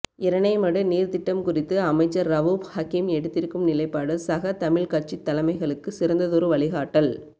இரணைமடு நீர்த்திட்டம் குறித்து அமைச்சர் ரவூப் ஹக்கீம் எடுத்திருக்கும் நிலைப்பாடு சக தமிழ் கட்சித் தலைமைகளுக்கு சிறந்ததொரு வழிகாட்டல்